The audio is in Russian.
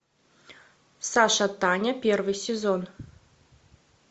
сашатаня первый сезон